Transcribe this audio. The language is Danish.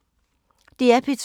DR P2